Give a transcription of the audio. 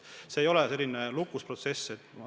See ei ole mingi lukus protsess.